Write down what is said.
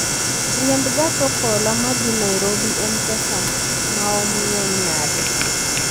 Riembo gach okolo ma dhi Nairobi en pesa maom ng'eny nade